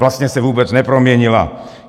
Vlastně se vůbec neproměnila.